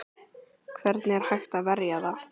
Hvernig er hægt að verja það?